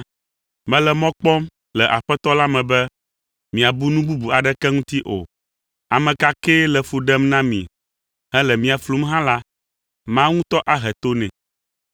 Mele mɔ kpɔm le Aƒetɔ la me be miabu nu bubu aɖeke ŋuti o. Ame ka kee le fu ɖem na mi hele mia flum hã la, Mawu ŋutɔ ahe to nɛ.